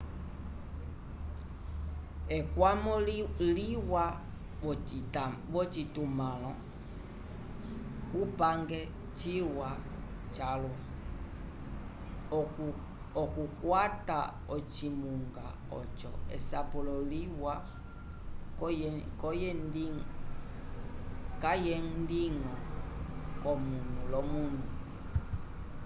ekwamo liwa v'ocitumãlo cupange ciwa calwa okukwata ocimunga oco esapulo liwa kayendiñgo k'omunu l'omunu